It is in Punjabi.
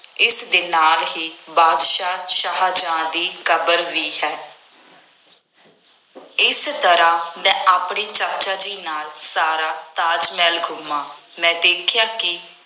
ਇਸਦੇ ਨਾਲ ਹੀ ਬਾਦਸ਼ਾਹ ਸ਼ਾਹਜਹਾਂ ਦੀ ਕਬਰ ਵੀ ਹੈ। ਇਸ ਤਰ੍ਹਾਂ ਮੈ ਆਪਣੇ ਚਾਚਾ ਜੀ ਨਾਲ ਸਾਰਾ ਤਾਜ ਮਹਿਲ ਘੁੰਮਿਆ, ਮੈਂ ਦੇਖਿਆ ਕਿ